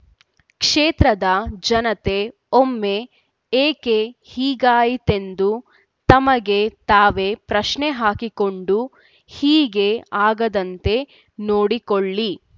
ಕ್ಷೇತ್ರದ ಜನತೆ ಒಮ್ಮೆ ಏಕೆ ಹೀಗಾಯಿತೆಂದು ತಮಗೆ ತಾವೇ ಪ್ರಶ್ನೆ ಹಾಕಿಕೊಂಡು ಹೀಗೆ ಆಗದಂತೆ ನೋಡಿಕೊಳ್ಳಿ